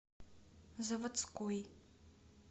завадской